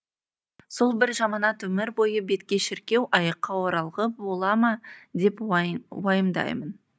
сол бір жаманат өмір бойы бетке шіркеу аяққа оралғы бола ма деп уайымдаймын